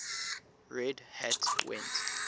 red hat went